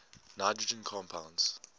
nitrogen compounds